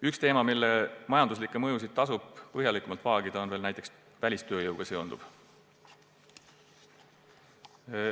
Üks teema, mille majanduslikke mõjusid tasub samuti põhjalikumalt vaagida, on näiteks välistööjõuga seonduv.